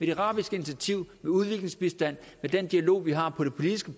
det arabiske initiativ med udviklingsbistand med den dialog vi har på det politiske